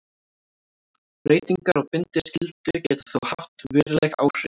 Breytingar á bindiskyldu geta þó haft veruleg áhrif.